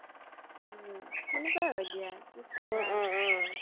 উম সেনেকে হয় দিয়া